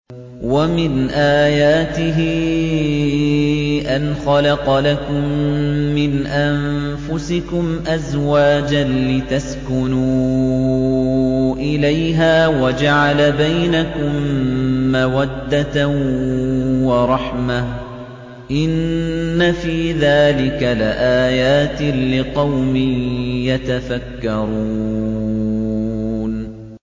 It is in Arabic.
وَمِنْ آيَاتِهِ أَنْ خَلَقَ لَكُم مِّنْ أَنفُسِكُمْ أَزْوَاجًا لِّتَسْكُنُوا إِلَيْهَا وَجَعَلَ بَيْنَكُم مَّوَدَّةً وَرَحْمَةً ۚ إِنَّ فِي ذَٰلِكَ لَآيَاتٍ لِّقَوْمٍ يَتَفَكَّرُونَ